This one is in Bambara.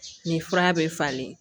Nin fura bɛ falen